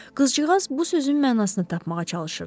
Qızcığaz bu sözün mənasını tapmağa çalışırdı.